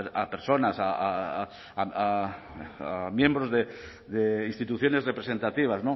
a personas a miembros de instituciones representativas